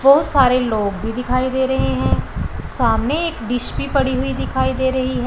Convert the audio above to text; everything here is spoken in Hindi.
बहोत सारे लोग भी दिखाई दे रहे हैं सामने एक डिश भी पड़ी हुई दिखाई दे रही है।